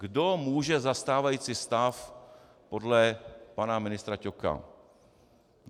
Kdo může za stávající stav podle pana ministra Ťoka?